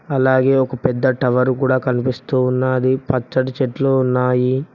అలాగే ఒక పెద్ద టవరు కూడా కనిపిస్తూ ఉన్నాది పచ్చటి చెట్లు ఉన్నాయి.